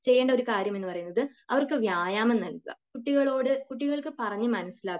ചെയ്യേണ്ട ഒരു കാര്യം എന്ന് പറയുന്നത് അവർക്കു വ്യായാമം നൽകുക . കുട്ടികളോട് , കുട്ടികൾക്ക് പറഞ്ഞു മനസിലാക്കുക